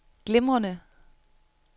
glimrende